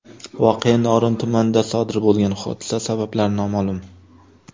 Voqea Norin tumanida sodir bo‘lgan, hodisa sabablari noma’lum.